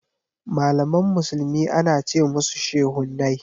Malaman musulmi ana ce musushehunai.